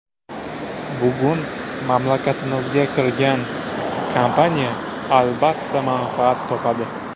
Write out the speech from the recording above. Bugun mamlakatimizga kirgan kompaniya, albatta, manfaat topadi.